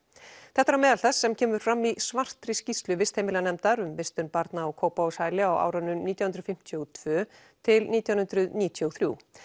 þetta er á meðal þess sem kemur fram í svartri skýrslu vistheimilanefndar um vistun barna á Kópavogshæli á árunum nítján hundruð fimmtíu og tvö til nítján hundruð níutíu og þrjú